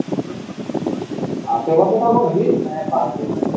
আশেপাশে থাকো নাকি?